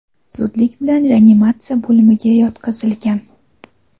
zudlik bilan reanimatsiya bo‘limiga yotqizilgan.